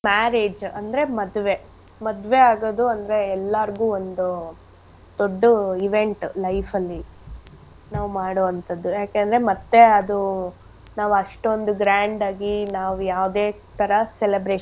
Marriage ಅಂದ್ರೆ ಮದ್ವೆ. ಮದ್ವೆ ಆಗೋದು ಅಂದ್ರೆ ಎಲ್ಲಾರ್ಗು ಒಂದು ದೊಡ್ಡ event life ಅಲ್ಲಿ ನಾವ್ ಮಾಡೋ ಅಂಥದ್ದು. ಯಾಕೆಂದ್ರೆ ಮತ್ತೆ ಅದು ನಾವ್ ಅಷ್ಟೊಂದ್ grand ಆಗಿ ನಾವ್ ಯಾವ್ದೆ ತರ celebration .